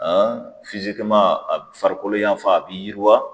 Han fizikiman a farikolo yanfan a bi yiriwa